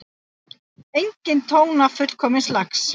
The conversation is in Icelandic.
Einsog tóna fullkomins lags.